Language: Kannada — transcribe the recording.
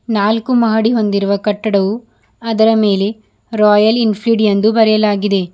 ನಾಲ್ಕು ಮಹಡಿ ಹೊಂದಿರುವ ಕಟ್ಟಡವು ಅದರ ಮೇಲೆ ರಾಯಲ್ ಎನ್ ಫೀಲ್ಡ್ ಎಂದು ಬರೆಯಲಾಗಿದೆ.